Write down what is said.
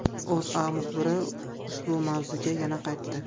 O‘zA muxbiri ushbu mavzuga yana qaytdi .